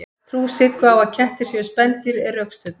trú siggu á að kettir séu spendýr er rökstudd